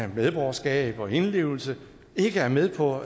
medborgerskab og indlevelse ikke er med på